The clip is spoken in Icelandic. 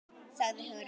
sagði Hugrún.